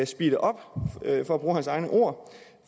speede op for at bruge hans egne ord